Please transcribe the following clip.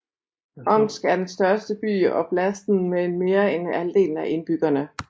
Omsk er den største by i oblasten med mere end halvdelen af indbyggerne